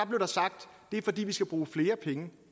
blev der sagt det er fordi vi skal bruge flere penge